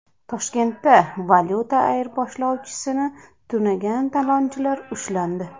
Toshkentda valyuta ayirboshchisini tunagan talonchilar ushlandi.